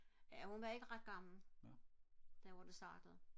ja hun var ikke ret gammel da hun startede